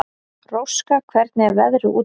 Róska, hvernig er veðrið úti?